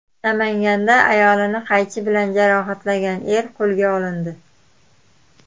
Namanganda ayolini qaychi bilan jarohatlagan er qo‘lga olindi.